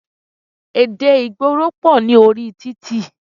Èdè ìgboro pọ̀ ní orí títì.